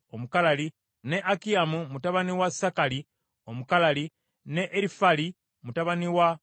ne Akiyamu mutabani wa Sakali Omukalali, ne Erifali mutabani wa Uli,